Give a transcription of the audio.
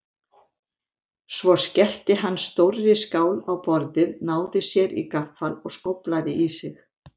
Svo skellti hann stórri skál á borðið, náði sér í gaffal og skóflaði í sig.